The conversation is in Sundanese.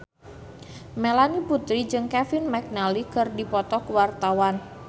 Melanie Putri jeung Kevin McNally keur dipoto ku wartawan